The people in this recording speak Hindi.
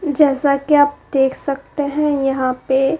जैसा कि आप देख सकते है यहां पे--